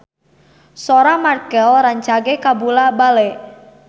Sora Marchell rancage kabula-bale